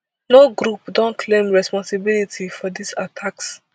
no group don claim responsibility for dis attacks